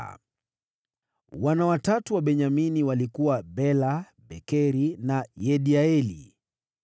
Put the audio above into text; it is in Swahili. Wana watatu wa Benyamini walikuwa: Bela, Bekeri na Yediaeli.